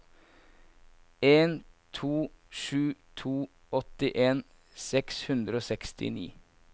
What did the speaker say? en to sju to åttien seks hundre og sekstini